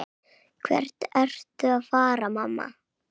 Hvert ertu að fara, mamma?